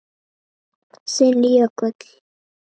Þinn Jökull.